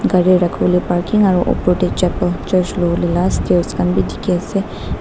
gari rakhu le parking aru upor te chapel church lobo la stairs khan bhi dekhi ase.